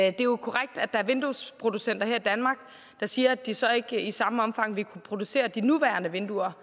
er jo korrekt at der er vinduesproducenter her i danmark det siger at de så ikke i samme omfang vil kunne producere de nuværende vinduer